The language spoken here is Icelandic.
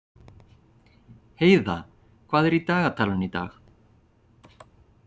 Heiða, hvað er í dagatalinu í dag?